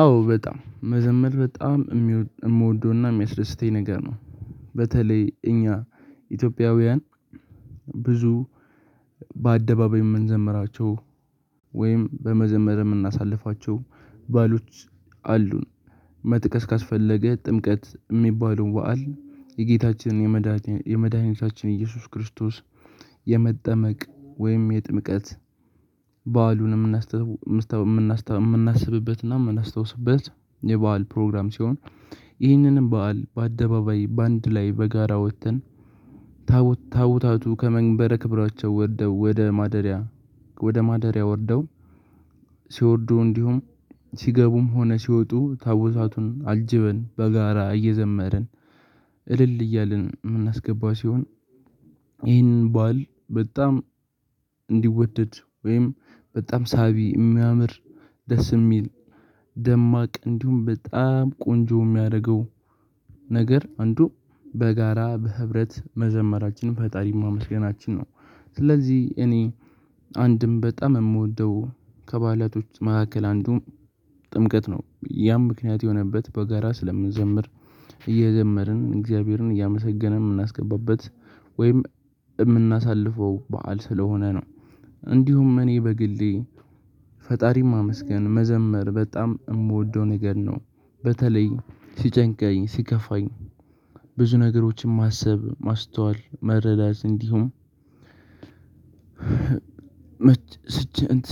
አዎ በጣም መዘመድ በጣም እምወደውና የሚያስደስተኝ ነገር ነው። በተለይ እኛ ኢትዮጵያውያን ብዙ በአደባባይ የምንዘምራቸው ወይም በመዘመር የምናሳልፋቸው ባህሎች አሉን። መጥቀስ ካስፈለገ ጥምቀት የሚባለው በዓል የጌታችንን የመድኃኒታችን ኢየሱስ ክርስቶስ የመጠመቅ ወይም የጥምቀት በዓሉን የምናስተውስ የምናስተውስ የምናስብበት እና የምናስታውስበት የበአል ፕሮግራም ሲሆን ይህንንም በዓል በአደባባይ በአንድ ላይ በጋራ ወጥተን ታቦት ታቦታቱ ከመንበረ ክብራቸው ወርደው ወደ ማደሪያ ወደ ማደሪያ ወርደው ሲወርዱ እንዲሁም ሲገቡም ሆነ ሲወጡ ታቦታቱን አጅበን በጋራ እየዘመርን እልል እያልን የምናስገባው ሲሆን። ይህንን ባል በጣም እንዲወደድ ወይም በጣም ሳቢ እሚያምር ደስ የሚል ደማቅ እንዲሁም በጣም ቆንጆ የሚያደርገው ነገር አንዱ በጋራ በህብረት መዘመራችንን ፈጣሪ ማመስገናችን ነው። ስለዚህ እኔ አንድም በጣም እምወደው ከባእላቶች መካከል አንዱ ጥምቀት ነው ያም ምክንያት የሆነበት በጋራ ስለምንዘምር እየዘመርን እግዚአብሔርን እያመሰገንን የምናስገባበት ወይም የምናሳልፈው በዓል ስለሆነ ነው። እንዲሁም እኔ በግሌ ፈጣሪም አመስገን መዘመር በጣም እምወደው ነገር ነው። በተለይ ሲጨንቀኝ ሲከፋኝ ብዙ ነገሮችን ማሰብ ማስተዋል መረዳት እንዲሁም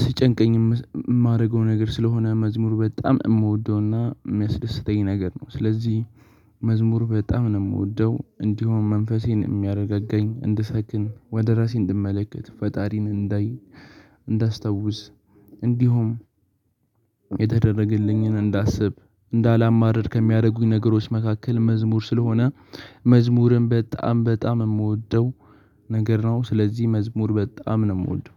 ሲጨንቀኝ የማደርገው ነገር ስለሆነ መዝሙር በጣም እምወደውና የሚያስደስተኝ ነገር ነው። ስለዚህ መዝሙር በጣም ነው የምወደው እንዲሆም መንፈሴን የሚያረጋጋኝ እንድሰክን ወደ ራሴ እንድመለከት ፈጣሪን እንዳይ እንዳስታውስ እንዲሁም የተደረገልኝን እንዳስብ እንዳላማርር ከሚያረጉኝ ነገሮች መካከል መዝሙር ስለሆነ መዝሙርም በጣም በጣም እምወደው ነገር ነው። ስለዚህ መዝሙር በጣም ነው የምወደው